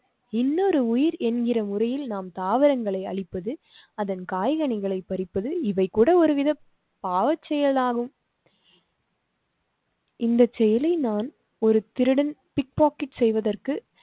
இன்னொரு உயிர் என்கிற முறையில் நாம் தாவரங்களை அழிப்பது அதன் காய் கனிகளை பறிப்பது இவை கூட ஒரு வித பாவச் செயலாகும். இந்த செயலை நான் ஒரு திருடன் pick pocket செய்வதற்கு